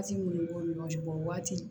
b'u ni ɲɔgɔn cɛ waati